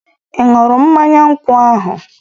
Ị ṅụrụ mmanya nkwụ ahu?